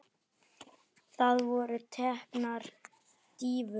Það voru teknar dýfur.